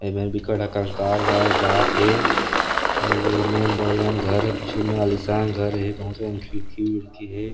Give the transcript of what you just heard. एमेर बिकट अकन कार वार जात हे अऊ एमेर बड़े जान घर हे पीछू मे आलिसान घर हे बहुत अकन खिड़की उड़की हे।